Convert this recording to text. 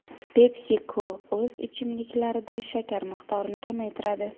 PepsiCo o‘z ichimliklarida shakar miqdorini kamaytiradi.